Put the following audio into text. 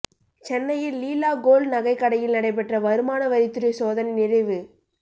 சென்னையில் லீலா கோல்ட் நகைக்கடையில் நடைபெற்ற வருமான வரித்துறை சோதனை நிறைவு